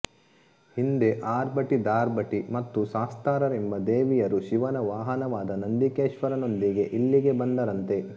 ಹಿಂದೆ ಆರ್ಭಟಿ ಧಾರ್ಭಟಿ ಮತ್ತು ಶಾಸ್ತಾರರೆಂಬ ದೇವಿಯರು ಶಿವನ ವಾಹನವಾದ ನಂದಿಕೇಶ್ವರನೊಂದಿಗೆ ಇಲ್ಲಿಗೆ ಬಂದರಂತೆ